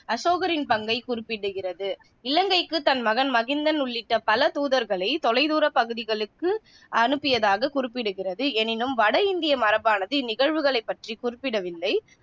அசோகரின் பங்கை குறிப்பிடுகிறது. இலங்கைக்குத் தன் மகன் மகிந்தன் உள்ளிட்ட பல தூதர்களை தொலைதூரப் பகுதிகளுக்கு அனுப்பியதாக குறிப்பிடுகிறது னினும், வட இந்திய மரபானது இந்நிகழ்வுகளை பற்றி குறிப்பிடவில்லை.